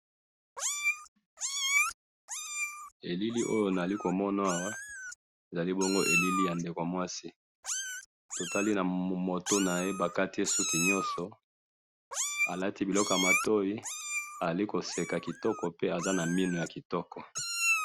elili oyo nazali ko mona awa ezali bongo elili ya ndeko mwasi to tali na mtu naye bakati suki nyoso a lati biloko ya matoyi azali ko seka kitoko pe azali na minu ya kitoko